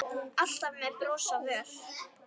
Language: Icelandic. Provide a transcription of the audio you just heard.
Alltaf með bros á vör.